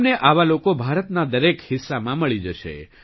તમને આવા લોક ભારતના દરેક હિસ્સામાં મળી જશે